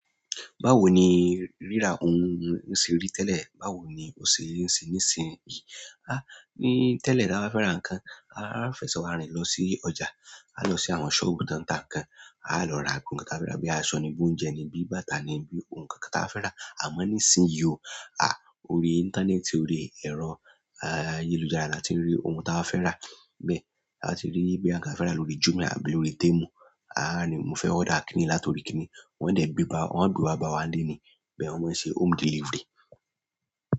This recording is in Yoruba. Báwo ni ríra ohun nṣe rí tẹlẹ, báwo ni o ṣe nṣe nísin yí? A, ni tẹlẹ tí a bá fẹ́ra ǹkan, a fẹsẹ wa rìn lọ sí ọjà, a lọ sí àwọn sọobu tan ta ǹkan, a ọ lọ ra ohun kan tí a fẹra bí aṣọ ni, bí oúnjẹ ni, bí bàtà ni, bí ohun kan kan tí a fẹra. Àmọ́ nísin yí o, a ọ rí interneti, ọ rí ẹrọ ayélujára láti rí ohun tí a bá fẹra. Bẹ, a ti rí bí bóyá ǹkan tí a bá fẹra lórí jumia àbí lórí temu, a ni mo fẹ́ order kíni latọri kíni. Wọ́n dẹ gbé bá, wọ́n a gbé wa báwa nlé ni. Bẹ, wọ́n má ń ṣe home delivery.